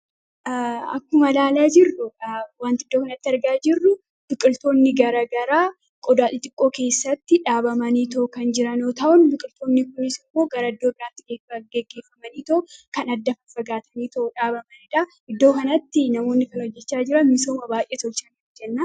akkuma ilaalaa jirru wanti iddoo kanatti argaa jirru buqiltoonni gara garaa qodaa xixiqqoo keessatti dhaabamanii to'o kan jiranoo ta'on biqiltoonni kunis immoo garaddoo biraantiqeeffaggeeggeeffamanii too kan addafa fagaatanii to'o dhaabamanidha iddoo kanatti namoonni kan hojjechaa jira misooma baay'ee tolchan